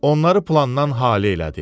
Onları plandan hali elədi.